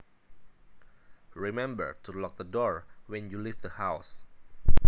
Remember to lock the door when you leave the house